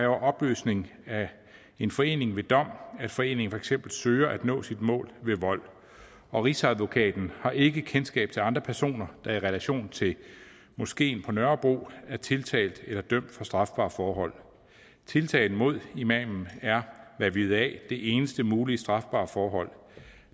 opløsning af en forening ved dom at foreningen for eksempel søger at nå sit mål ved vold og rigsadvokaten har ikke kendskab til andre personer der i relation til moskeen på nørrebro er tiltalt eller dømt for strafbare forhold tiltalen mod imamen er hvad vi ved af det eneste mulige strafbare forhold